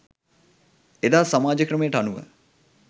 එදා සමාජ ක්‍රමයට අනුව